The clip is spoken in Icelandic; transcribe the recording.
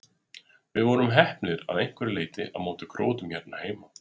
Við vorum heppnir að einhverju leiti á móti Króötum hérna heima.